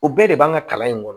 O bɛɛ de b'an ka kalan in kɔnɔ